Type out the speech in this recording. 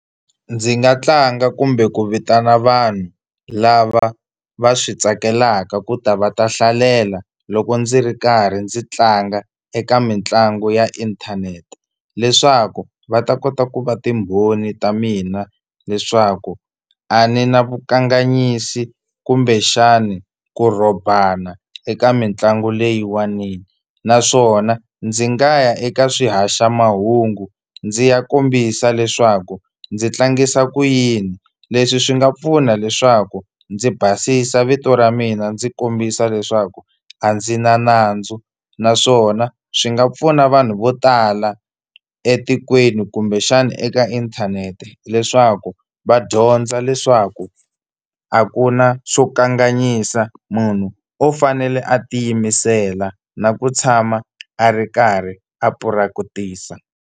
Ndzi nga tlanga kumbe ku vitana vanhu lava va swi tsakelaka ku ta va ta hlalela loko ndzi ri karhi ndzi tlanga eka mitlangu ya inthanete, leswaku va ta kota ku va timbhoni ta mina leswaku a ni na vukanganyisi kumbexani ku rhobana eka mitlangu leyiwanini. Naswona ndzi nga ya eka swihaxamahungu ndzi ya kombisa leswaku ndzi tlangisa ku yini. Leswi swi nga pfuna leswaku ndzi basisa vito ra mina ndzi kombisa leswaku a ndzi na nandzu naswona swi nga pfuna vanhu vo tala etikweni kumbexana eka inthanete, leswaku va dyondza leswaku a ku na swo kanganyisa munhu o fanele a tiyimisela na ku tshama a ri karhi a purakitisa.